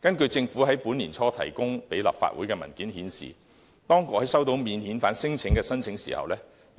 根據政府在本年年初提供立法會的文件顯示，當局在收到免遣返聲請申請時，要